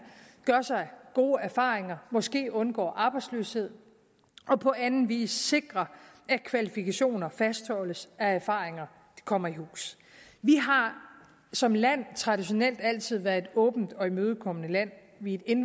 gør sig gode erfaringer måske undgår arbejdsløshed og på anden vis sikrer at kvalifikationer fastholdes at erfaringer kommer i hus vi har som land traditionelt altid været et åbent og imødekommende land vi er et